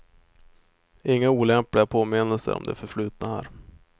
Inga olämpliga påminnelser om det förflutna här.